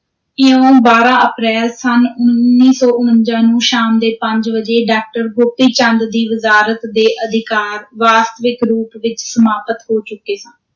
ਇਉਂ, ਬਾਰਾਂ ਅਪ੍ਰੈਲ ਸੰਨ ਉੱਨੀ ਸੌ ਉਣੰਜਾ ਨੂੰ ਸ਼ਾਮ ਦੇ ਪੰਜ ਵਜੇ, ਡਾਕਟਰ ਗੋਪੀ ਚੰਦ ਦੀ ਵਜ਼ਾਰਤ ਦੇ ਅਧਿਕਾਰ, ਵਾਸਤਵਿਕ ਰੂਪ ਵਿਚ ਸਮਾਪਤ ਹੋ ਚੁੱਕੇ ਸਨ।